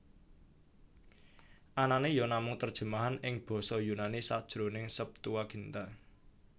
Anané ya namung terjemahan ing basa Yunani sajroning Septuaginta